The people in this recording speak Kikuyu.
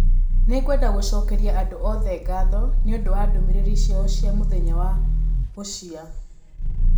Nĩ ngwenda gũcokeria andũ othe ngatho nĩ ũndũ wa ndũmĩrĩri ciao cia mũthenya wa gũcia